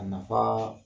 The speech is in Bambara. A nafa